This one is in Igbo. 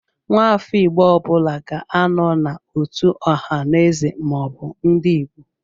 Nwafọ Igbo ọbụla ga-anọ n'otu Ọhaneze/Ndigbo.